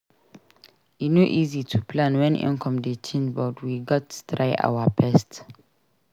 E no easy to plan wen income dey change but we gats try our best.